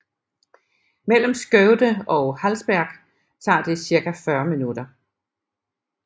Mellem Skövde og Hallsberg tager det cirka 40 minutter